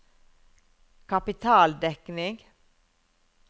kapitaldekning